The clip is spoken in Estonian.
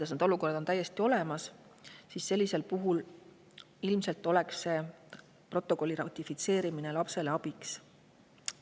Sellised olukorrad on täiesti olemas ja sellisel puhul oleks protokolli ratifitseerimine ilmselt lapsele abiks.